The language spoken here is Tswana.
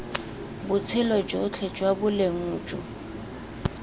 botshelo jotlhe jwa boleng jo